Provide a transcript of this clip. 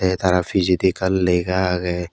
tey tara pijedi ekkan lega aagey.